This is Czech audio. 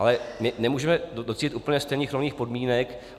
Ale my nemůžeme docílit úplně stejných nových podmínek.